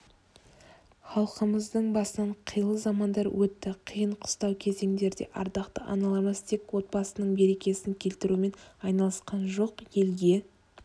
халқымыздың басынан қилы замандар өтті қиын-қыстау кезеңдерде ардақты аналарымыз тек отбасының берекесін келтірумен айналысқан жоқ елге